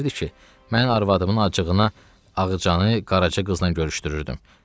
O deyirdi ki, mən arvadımın acığına Ağcanı Qaraca qızla görüşdürürdüm.